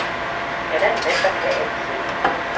Han er en mand, der kan alt selv.